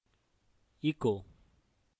echo